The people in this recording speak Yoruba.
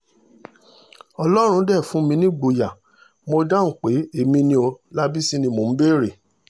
ọlọ́run dé fún mi nígboyà mo dáhùn pé èmi ni ọ́ lábísí ni mò ń béèrè